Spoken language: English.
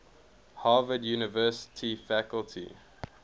harvard university faculty